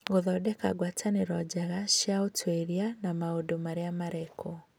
Gũthondeka ngwatanĩro njega cia ũtuĩria na maũndũ marĩa marekwo